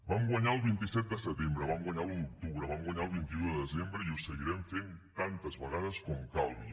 vam guanyar el vint set de setembre vam guanyar l’un d’octubre vam guanyar el vint un de desembre i ho seguirem fent tantes vegades com calgui